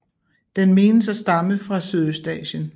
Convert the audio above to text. Den menes at stamme fra Sydøstasien